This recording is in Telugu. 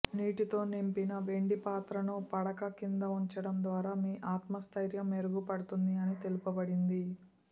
నీటితో నింపిన వెండి పాత్ర ను పడక కింద ఉంచడం ద్వారా మీ ఆత్మస్థైర్యం మెరుగుపడుతుంది అని తెలుపబడింది